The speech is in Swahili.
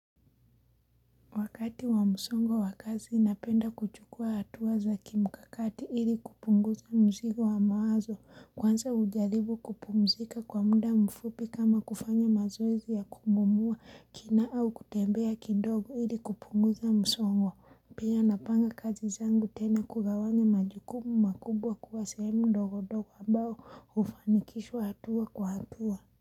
Wakati wa msongwa wakazi napenda kuchukua hatua za kimkakati ili kupunguza mzigo wa mawazo. Kwanza ujaribu kupumzika kwa muda mfupi kama kufanya mazoezi ya kupumua kina au kutembea kidogo ili kupunguza msongwa. Pia napanga kazi zangu tena kugawanya majukumu makubwa kuwa sehemu ndogo ndogo ambao hufanikishwa hatua kwa hatua.